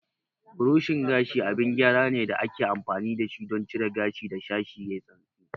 Burushin gashi abin gyara ne da ake amfani da shi don cire gashi da sashi yayi santsi.